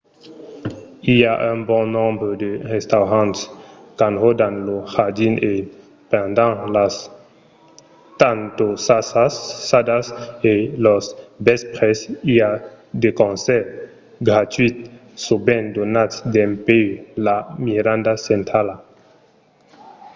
i a un bon nombre de restaurants qu'enròdan lo jardin e pendent las tantossadas e los vèspres i a de concèrts gratuïts sovent donats dempuèi la miranda centrala